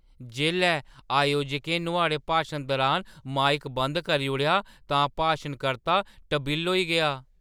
जेल्लै अयोजकें नुआढ़े भाशन दुरान माइक बंद करी ओड़ेआ तां भाशन-कर्ता टबिल्ल होई गेआ ।